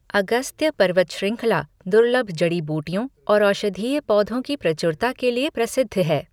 अगस्त्य पर्वत श्रृंखला दुर्लभ जड़ी बूटियों और औषधीय पौधों की प्रचुरता के लिए प्रसिद्ध है।